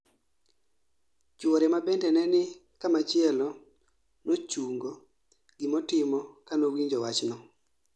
Chuore mabende neni kamachielo nochungo gimotimo kanowinjo wach no